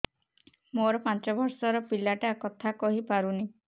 ମୋର ପାଞ୍ଚ ଵର୍ଷ ର ପିଲା ଟା କଥା କହି ପାରୁନି